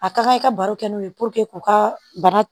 A ka kan i ka baro kɛ n'o ye k'u ka bana